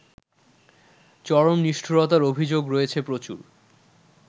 চরম নিষ্ঠুরতার অভিযোগ রয়েছে প্রচুর